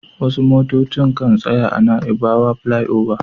Wasu motocin kan tsaya a naibawa filai oba